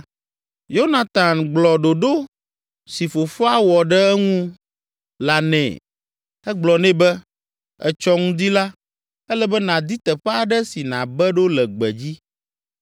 Yonatan gblɔ ɖoɖo si fofoa wɔ ɖe eŋu la nɛ. Egblɔ nɛ be, “Etsɔ ŋdi la, ele be nàdi teƒe aɖe si nàbe ɖo le gbedzi.